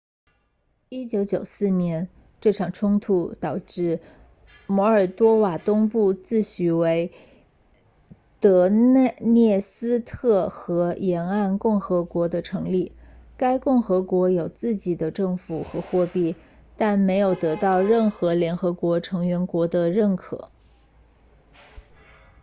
1994年这场冲突导致摩尔多瓦东部自诩为德涅斯特河沿岸共和国的成立该共和国有自己的政府和货币但没有得到任何联合国成员国的认可